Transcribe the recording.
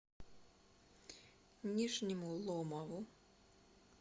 нижнему ломову